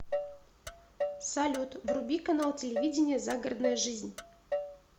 салют вруби канал телевидения загородная жизнь